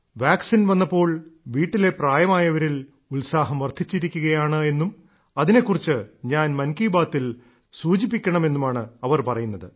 vaccine വന്നപ്പോൾ വീട്ടിലെ പ്രായമായവരിൽ ഉത്സാഹം വർദ്ധിച്ചിരിക്കുകയാണെന്നും അതിനെക്കുറിച്ച് ഞാൻ മൻ കി ബാത്തിൽ സൂചിപ്പിക്കണമെന്നുമാണ് അവർ പറയുന്നത്